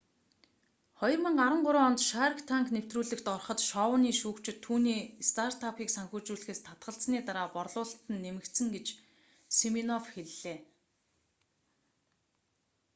2013 онд шарк танк нэвтрүүлэгт ороход шоуны шүүгчид түүний стартапыг санхүүжүүлэхээс татгалзсаны дараа борлуулалт нь нэмэгдсэн гэж симинофф хэллээ